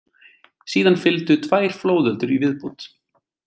Síðan fylgdu tvær flóðöldur í viðbót.